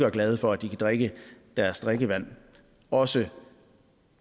og glade for at de kan drikke deres drikkevand også